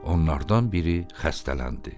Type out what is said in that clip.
Onlardan biri xəstələndi.